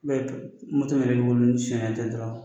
yɛrɛ min b'i bolo ni sonyɛnen tɛ dɔrɔn.